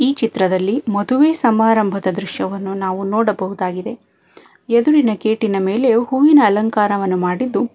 ಈ ಚಿತ್ರದಲ್ಲಿ ಮದುವೆ ಸಮಾರಂಭದ ದೃಶ್ಯವನ್ನು ನಾವು ನೋಡಬಹುದಾಗಿದೆ ಎದುರಿನ ಗೇಟಿನ ಮೇಲೆ ಹೂವಿನ ಅಲಂಕಾರವನ್ನು ಮಾಡಿದ್ದು--